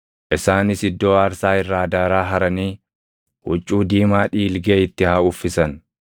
“Isaanis iddoo aarsaa irraa daaraa haranii huccuu diimaa dhiilgee itti haa uffisan.